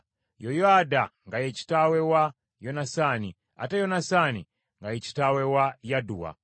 Yoyaada nga ye kitaawe wa Yonasaani, ate Yonasaani nga ye kitaawe wa Yadduwa.